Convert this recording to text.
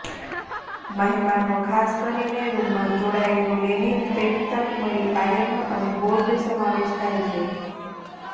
મહેમાનો ખાસ કરીને રૂમમાં ચોળાયેલું લેનિન પેટ તક મળી આયરન અને બોર્ડ સમાવેશ થાય છે